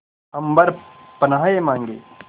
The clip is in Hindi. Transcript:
अम्बर पनाहे मांगे